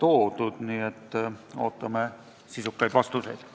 Ootame nendele sisukaid vastuseid.